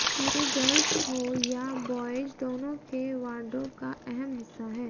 ये गर्ल्स हो या बॉयज दोनों के वार्डरोब का अहम हिस्सा हैं